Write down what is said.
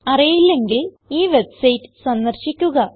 അറിയില്ലെങ്കിൽ ഈ വെബ്സൈറ്റ് സന്ദർശിക്കുക